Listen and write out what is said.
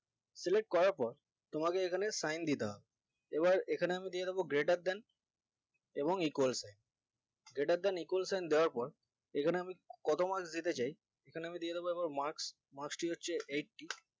select করার পর তোমাকে এখানে sign দিতে হবে এবার এখানে আমি দিয়ে দিবো greater than এবং equal greater than equal sign দেওয়ার পর এখানে আমি কত marks দিতে চাই এখানে আমি দিয়ে দিবো এবার marks marks টি হচ্ছে eighty